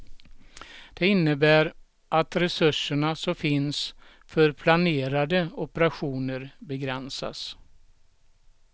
Det innebär att resurserna som finns för planerade operationer begränsas.